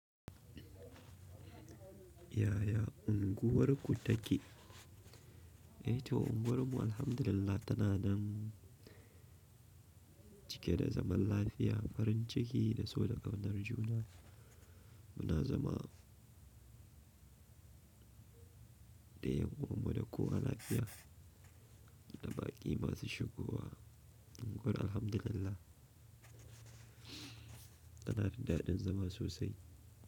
Yaya unguwarku take? Eh to unguwarmu Alhamdulillah tana nan cike da zaman lafiya, farin ciki da so da ƙaunar juna. Muna zama da ƴan uwanmu da kowa lafiya, da baƙi masu shigo wa. Unguwar Alhamdulillah tana daɗaɗɗen zama sosai.